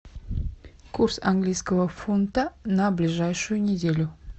курс английского фунта на ближайшую неделю